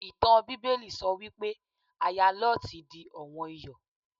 Ìtàn Bíbélì sọ wípé Aya Lọ́ọ̀tì di ọ̀wọ́n Iyọ̀.